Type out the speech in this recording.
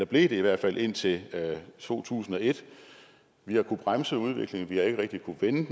blev de i hvert fald indtil to tusind og et vi har kunnet bremse udviklingen men vi har ikke rigtig kunnet vende